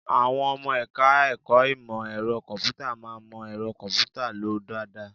Àwọn ọmọ ẹ̀ka-ẹ̀kọ́ ìmọ ẹ̀rọ kọ̀m̀pútà máa ń mọ ẹ̀rọ kọ̀m̀pútà lò dáadáa